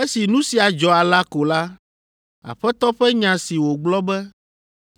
Esi nu sia dzɔ alea ko la, Aƒetɔ ƒe nya si wògblɔ be,